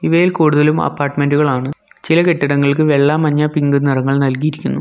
ഇവയിൽ കൂടുതലും അപ്പാർട്ട്മെൻ്റ് കളാണ് ചില കെട്ടിടങ്ങൾക്ക് വെള്ള മഞ്ഞ പിങ്ക് നിറങ്ങൾ നൽകിയിരിക്കുന്നു.